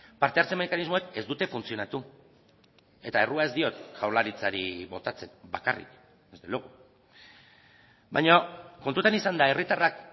parte hartze mekanismoek ez dute funtzionatu eta errua ez diot jaurlaritzari botatzen bakarrik desde luego baina kontutan izanda herritarrak